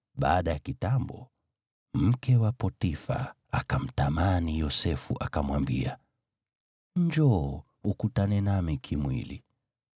baada ya kitambo mke wa Potifa akamtamani Yosefu, akamwambia, “Njoo, ukutane nami kimwili!”